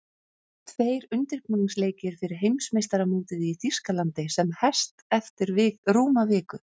Tveir undirbúningsleikir fyrir Heimsmeistaramótið í Þýskalandi sem hest eftir rúma viku.